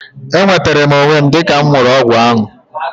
E nwetere m onwe m dịka mụ ṅụrụ ọgwụ ahu